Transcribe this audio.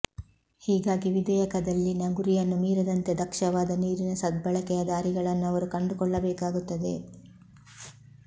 ಹೀಗಾಗಿ ವಿಧೇಯಕದಲ್ಲಿನ ಗುರಿಯನ್ನು ಮೀರದಂತೆ ದಕ್ಷವಾದ ನೀರಿನ ಸದ್ಬಳಕೆಯ ದಾರಿಗಳನ್ನು ಅವರು ಕಂಡುಕೊಳ್ಳಬೇಕಾಗುತ್ತದೆ